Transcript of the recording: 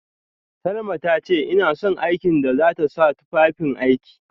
Salma tace ina son aikin da zata sa tufafin aiki